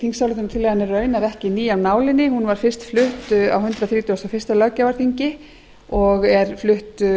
þingsályktunartillagan er raunar ekki ný af nálinni hún var fyrst flutt á hundrað þrítugasta og öðrum löggjafarþingi og er flutt